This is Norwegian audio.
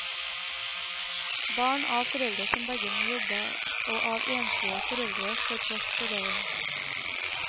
Barn av foreldre som begge må jobbe og av enslige foreldre får plass på leiren.